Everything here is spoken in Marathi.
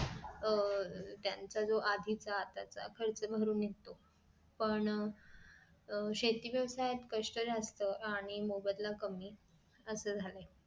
अह त्यांचा जो आधीच आताच खर्च भरून निघतो पण शेती व्यवसायात कष्ट जास्त आणि मोबदला कमी असं झालाय